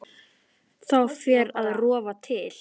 Þá fer að rofa til.